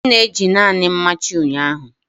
M na-eji naanị mmachi ụnyaahụ.